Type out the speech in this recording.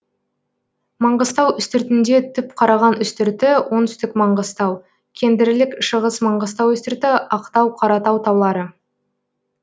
манғыстау үстіртінде түпқараған үстірті оңтүстік маңғыстау кендірлік шығыс маңғыстау үстірті ақтау қаратау таулары